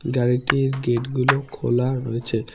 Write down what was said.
গাড়িটির গেটগুলো খোলা রয়েছে।